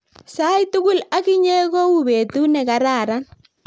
sait tugul ak inye ko u petut ne kararan